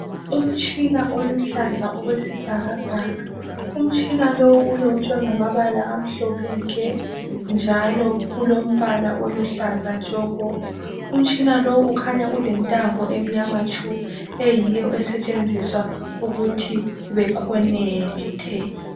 Umtshina oluhlaza okwesibhakabhaka umtshina lowu ulotshwe ngamabala amhlophe nke njalo ulombala oluhlaza tshoko umtshina lo ukhanya ulentambo emnyama tshu eyiyo esetshenziswa ukuthi bexhume.